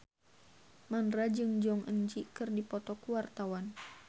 Mandra jeung Jong Eun Ji keur dipoto ku wartawan